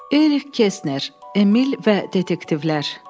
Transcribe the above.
Erik Kesner, Emil və detektivlər.